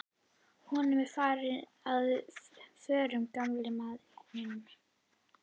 Honum er farið að förlast, gamla manninum.